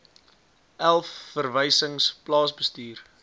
elf verwysings plaasbestuur